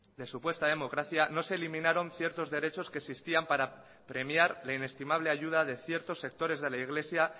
de supuesta democracia no se eliminaron ciertos derechos que existían para premiar la inestimable ayuda de ciertos sectores de la iglesia